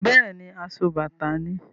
Bẹ́ẹ̀ni, asobàtà ni.